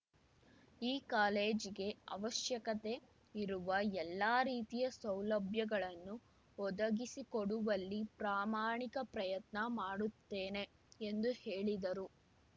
ಈ ಕಾಲೇಜಿಗೆ ಅವಶ್ಯಕತೆ ಇರುವ ಎಲ್ಲ ರೀತಿಯ ಸೌಲಭ್ಯಗಳನ್ನು ಒದಗಿಸಿಕೊಡುವಲ್ಲಿ ಪ್ರಾಮಾಣಿಕ ಪ್ರಯತ್ನ ಮಾಡುತ್ತೇನೆ ಎಂದು ಹೇಳಿದರು